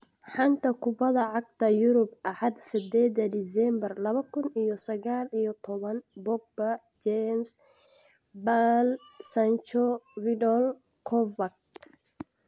Xanta Kubadda Cagta Yurub Axad sideda diseembar labo kuun iyo sagaal iyo tobaan : Pogba, James, Bale, Sancho, Vidal, Kovac